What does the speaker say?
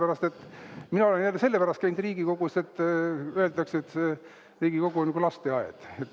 Aga mina olen selle pärast käinud Riigikogus, et öeldakse, et Riigikogu on nagu lasteaed.